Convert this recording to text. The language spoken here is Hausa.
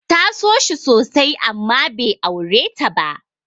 Ta so shi sosai amma bai aure ta ba.